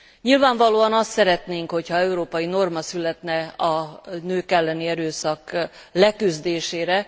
Nyilvánvalóan azt szeretnénk, hogyha európai norma születne a nők elleni erőszak leküzdésére.